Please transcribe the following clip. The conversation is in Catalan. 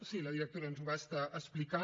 sí la directora ens ho va estar explicant